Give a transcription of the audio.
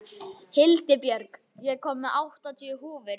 Hildibjörg, ég kom með áttatíu húfur!